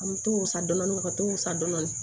An mi t'o san dɔɔni dɔɔni ka t'o sa dɔɔni